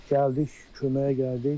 Gəldik, köməyə gəldik.